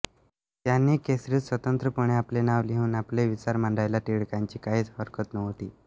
त्यांनी केसरीत स्वंतत्रपणे आपले नाव लिहून आपले विचार मांडायला टिळकांची काहीच हरकत नव्हती